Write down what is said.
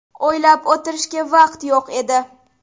O‘ylab o‘tirishga vaqt yo‘q edi.